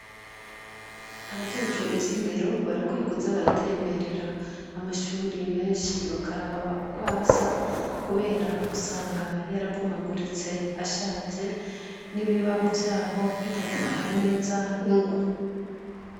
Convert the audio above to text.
Abajejwe ivy'indero barakwiye kuza baratemberera amashuri menshi bakaraba ukwasa ,kubera usanga yarabomaguritse ashaje, n'ibibaho vyaho bitagifata neza ingwa.